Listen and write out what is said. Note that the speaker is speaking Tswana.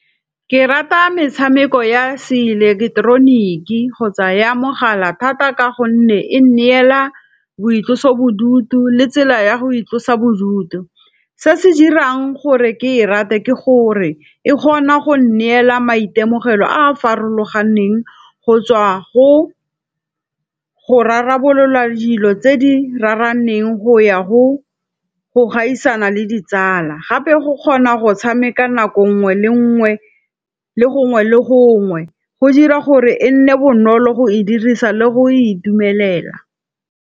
Ke rata metshameko ya se eleketeroniki kgotsa ya mogala thata ka gonne e neela boitlosobodutu le tsela ya go itlosa bodutu. Se se dirang gore ke e rate ke gore e kgona go neela maitemogelo a a farologaneng go tswa go, go rarabolola dilo tse di raraneng go ya go, go gaisana le ditsala. Gape go kgona go tshameka nako ngwe le ngwe le gongwe le gongwe go dira gore e nne bonolo go e dirisa le go itumelela.